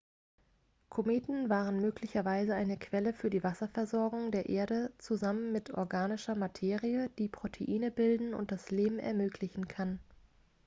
kometen waren möglicherweise eine quelle für die wasserversorgung der erde zusammen mit organischer materie die proteine bilden und leben ermöglichen kann